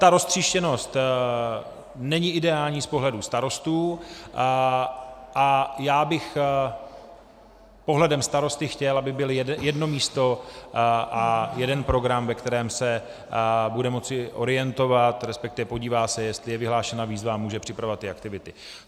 Ta roztříštěnost není ideální z pohledu starostů a já bych pohledem starosty chtěl, aby bylo jedno místo a jeden program, ve kterém se budu moci orientovat, respektive podívám se, jestli je vyhlášena výzva, a můžu připravovat ty aktivity.